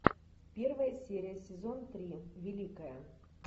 первая серия сезон три великая